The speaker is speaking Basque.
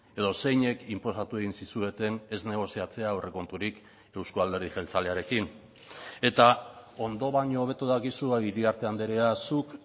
edo zeinek inposatu egin zizueten ez negoziatzea aurrekonturik euzko alderdi jeltzalearekin eta ondo baino hobeto dakizu iriarte andrea zuk